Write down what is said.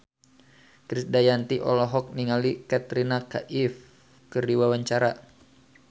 Krisdayanti olohok ningali Katrina Kaif keur diwawancara